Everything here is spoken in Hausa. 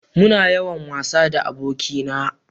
Muna yawan wasa da aboki na